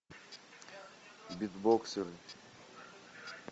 битбоксеры